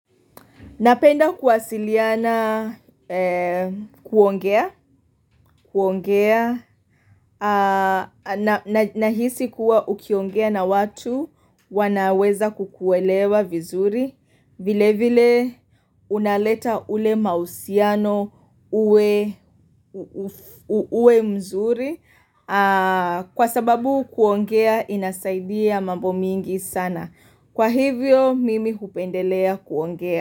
Napenda kuwasiliana kuongea. Nahisi kuwa ukiongea na watu wanaweza kukuelewa vizuri. Vile vile unaleta ule mausiano uwe mzuri. Kwa sababu kuongea inazaidia mambo mingi sana. Kwa hivyo mimi hupendelea kuongea.